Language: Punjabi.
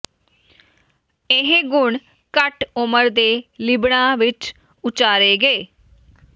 ਇਹ ਗੁਣ ਘੱਟ ਉਮਰ ਦੇ ਲਿਬੜਾ ਵਿੱਚ ਉਚਾਰੇ ਗਏ